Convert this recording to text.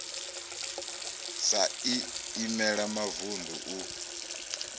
sa i imela mavunḓu u